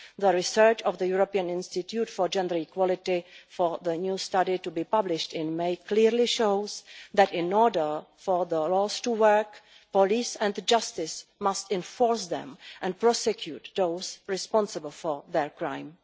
The research by the European Institute for Gender Equality for the new study to be published in May clearly shows that in order for the rules to work, the police and the courts must enforce them and prosecute those responsible for crimes.